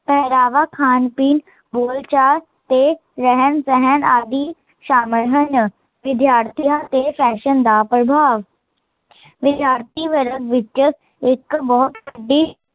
ਪਹਿਰਾਵਾ, ਖਾਣ ਪੀਣ, ਬੋਲਚਾਲ ਤੇ ਰਹਿਣ ਸਹਿਣ ਆਦਿ ਸ਼ਾਮਿਲ ਹਨ ਵਿਦਿਆਰਥੀਆ ਤੇ ਫੈਸ਼ਨ ਦਾ ਪ੍ਰਭਾਵ ਵਿਦਿਆਰਥੀ ਵਰਗ ਵਿੱਚ ਇੱਕ ਬਹੁਤ ਵੱਡੀ